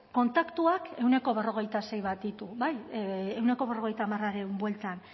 kontaktuak ehuneko berrogeita sei bat ditu bai ehuneko berrogeita hamarren bueltan